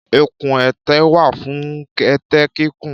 Ìkun ètè wà fún ètè kíkùn